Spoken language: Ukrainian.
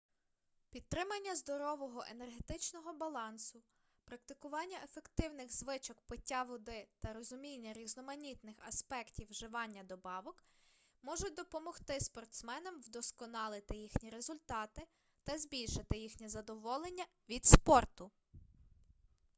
підтримання здорового енергетичного балансу практикування ефективних звичок пиття води та розуміння різноманітних аспектів вживання добавок можуть допомогти спортсменам вдосконалити їхні результати та збільшити їхнє задоволення від спорту